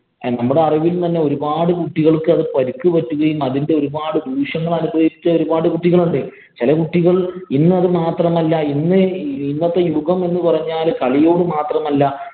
നമ്മുടെ അറിവില്‍ തന്നെ ഒരുപാട് കുട്ടികള്‍ക്ക് അതില്‍ പരിക്ക് പറ്റുകയും, അതിന്‍റെ ഒരു പാട് ദൂഷ്യങ്ങള്‍ അനുഭവിക്കുന്ന ഒരുപാട് കുട്ടികള്‍ ഉണ്ട്. ചെല കുട്ടികള്‍ ഇന്നത് മാത്രമല്ല, ഇന്നത്തെ യുഗം എന്ന് പറഞ്ഞാല് കളിയോട് മാത്രമല്ല